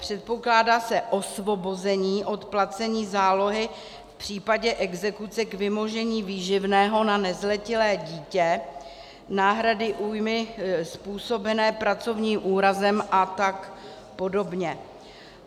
Předpokládá se osvobození od placení zálohy v případě exekuce k vymožení výživného na nezletilé dítě, náhrady újmy způsobené pracovním úrazem a tak podobně.